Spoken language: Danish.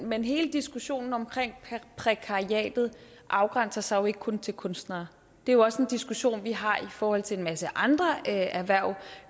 men hele diskussionen om prekariatet afgrænser sig jo ikke kun til kunstnere det er også en diskussion vi har i forhold til en masse andre erhverv